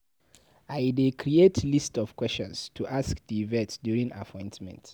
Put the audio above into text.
I dey create list of questions to ask di vet during appointments.